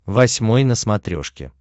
восьмой на смотрешке